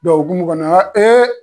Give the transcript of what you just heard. Dɔnkumu kɔnɔnana, an b'a fɔ ko ee